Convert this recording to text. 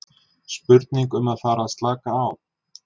Spurning um að fara að slaka á?